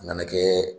A nana kɛ